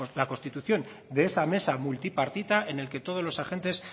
la constitución de esa mesa multipartita en el que todos los agentes